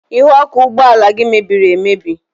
Ihu ọkụ ụgbọala gị mebiri emebi.